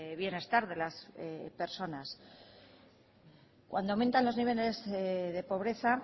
bienestar de las personas cuando aumentan los niveles de pobreza